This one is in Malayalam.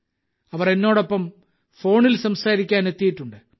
അവർ എന്നോടൊപ്പം ഫോണിൽ സംസാരിക്കാൻ എത്തിയിട്ടുണ്ട്്